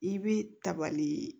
I bɛ tabali